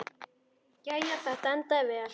Jæja, þetta endaði allt vel.